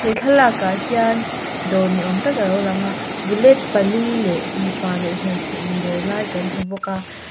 he thlalak ah hian dawr ni awm tak alo lang a bullet pali leh mipa leh hmeichhe in dawr lai kan hmu bawk a.